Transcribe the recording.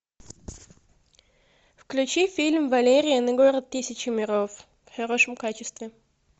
включи фильм валериан и город тысячи миров в хорошем качестве